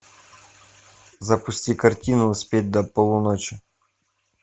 запусти картину успеть до полуночи